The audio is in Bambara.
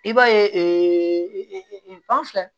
I b'a ye filɛ